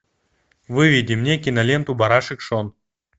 выведи мне киноленту барашек шон